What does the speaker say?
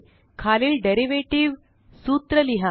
खालील डेरीवेटीव सूत्र लिहा